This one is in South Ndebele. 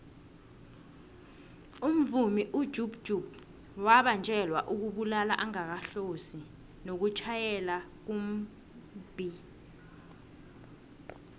umvumi ujub jub wabanjelwa ukubulala angakahlosi nokutjhayela kumbhi